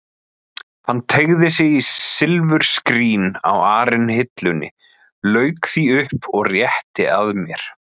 Hann teygði sig í silfurskrín á arinhillunni, lauk því upp og rétti að mér.